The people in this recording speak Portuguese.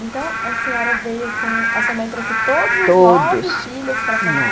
Então a senhora veio com... a sua mãe trouxe todos. Todos. Os nove filhos para São Paulo?